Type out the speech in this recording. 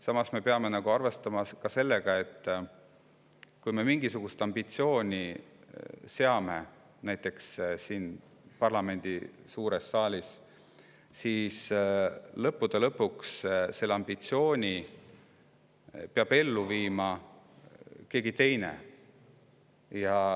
Samas me peame arvestama ka sellega, et kui me siin parlamendi suures saalis endale mingisuguse ambitsiooni seame, siis peab lõppude lõpuks selle ambitsiooni ellu viima keegi teine.